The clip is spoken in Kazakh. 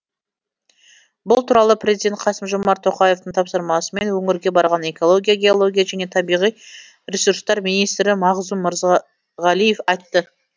бұл туралы президент қасым жомарт тоқаевтың тапсырмасымен өңірге барған экология геология және табиғи ресурстар министрі мағзұм мырзағалиев айтты